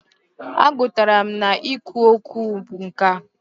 A gụtara m na i kwu okwu bụ nkà.